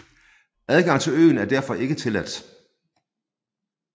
Adgang til øen er derfor ikke tilladt